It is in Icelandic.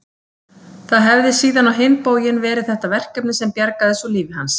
Það hefði síðan á hinn bóginn verið þetta verkefni sem bjargaði svo lífi hans.